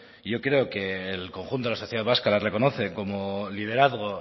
y yo creo que el conjunto de la sociedad vasca la reconoce como liderazgo